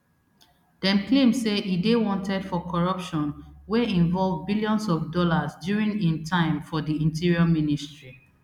dem claim say e dey wanted for corruption wey involve billions of dollars during im time for di interior ministry